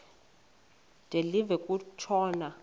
de live kutshona